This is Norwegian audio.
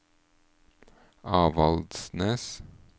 Avaldsnes